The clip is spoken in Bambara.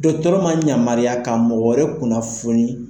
Dɔgɔtɔrɔ ma yamaruya ka mɔgɔ wɛrɛ kunnafoni